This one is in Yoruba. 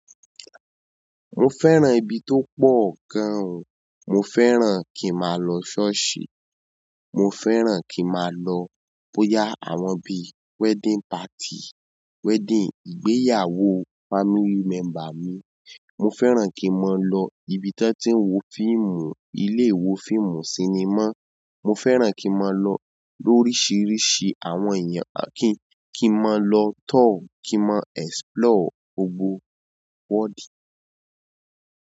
Mo fẹ́ràn ibi tó pọ̀ gan o. Mo fẹ́ràn kí n máa lọ ṣọ́ọ̀ṣì. Mo fẹ́ràn kí n máa lo bóyá àwọn bíi wedding party, wedding, ìgbéyàwó family member mi mo fẹ́ràn kí n máa lọ ibi tí wọ́n tí ń wo fíìmù, ilé ìwo fíìmù sinimá. Mo fẹ́ràn kí n máa lọ lóríṣiríṣi àwọn èeyàn à kí n kí n máa lọ tour, kí n máa explore gbogbo world.